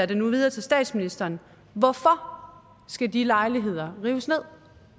det nu videre til statsministeren hvorfor skal de lejligheder rives ned